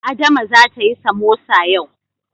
Adama zata yi samosa yau.